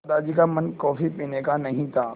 दादाजी का मन कॉफ़ी पीने का नहीं था